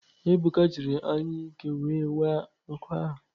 Ebụka jịrị anyụike wee waa nkụ ahụ.